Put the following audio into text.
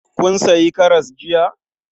Kun sayi karas jiya?